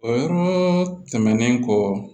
O yɔrɔ tɛmɛnen kɔ